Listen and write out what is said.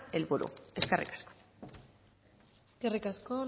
helburu eskerrik asko eskerrik asko